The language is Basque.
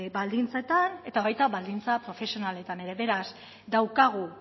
baldintzetan eta baita baldintza profesionaletan ere beraz daukagu